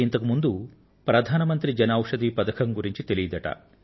అంతక్రితం వారికి ప్రధాన మంత్రి జన ఔషధి యోజన గురించి తెలియదట